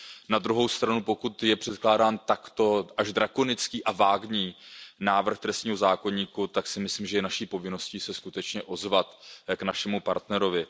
Na druhou stranu, pokud je předkládán takto až drakonický a vágní návrh trestního zákoníku, tak si myslím, že je naší povinností se skutečně ozvat k našemu partnerovi.